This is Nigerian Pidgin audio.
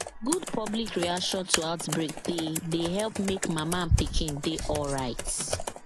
good public reaction to outbreak dey dey help make mama and pikin dey alright